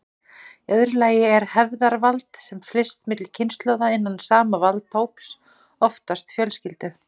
Í öðru lagi er hefðarvald, sem flyst milli kynslóða innan sama valdahóps, oftast fjölskyldu.